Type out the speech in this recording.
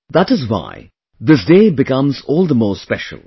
That is why this day becomes all the more special